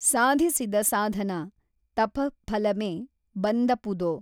ಸಾಧಿಸಿದ ಸಾಧನ ತಪಃಫಲಮೆ ಬಂದಪುದೊ